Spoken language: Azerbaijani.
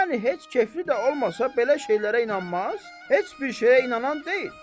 Yəni heç kefli də olmasa belə şeylərə inanmaz, heç bir şeyə inanan deyil.